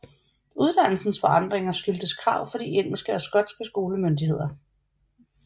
Uddannelsens forandringer skyldtes krav fra de engelske og skotske skolemyndigheder